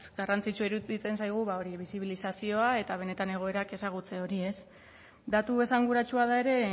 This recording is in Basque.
garrantzitsua iruditzen zaigu bisibilizazioa eta benetan egoerak ezagutze hori datu esanguratsua da ere